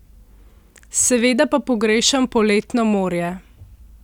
Seveda pa pogrešam poletno morje!